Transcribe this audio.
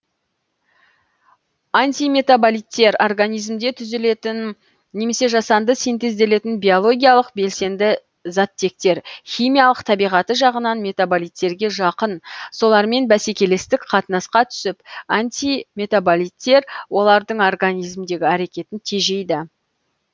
антиметаболиттер организмде түзілетін немесе жасанды синтезделетін биологиялық белсенді заттектер химиялық табиғаты жағынан метаболиттерге жақын солармен бәсекелестік қатынасқа түсіп антиметаболиттер олардың организмдегі әрекетін тежейді